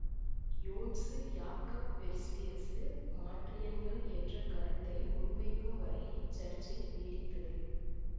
யோன்சு Jakob Berzelius மாற்றியன்கள் என்ற கருத்தை முன்வைக்கும் வரை இச்சர்ச்சை நீடித்தது